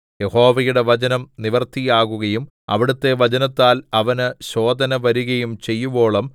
യഹോവയുടെ വചനം നിവൃത്തിയാകുകയും അവിടുത്തെ വചനത്താൽ അവന് ശോധന വരുകയും ചെയ്യുവോളം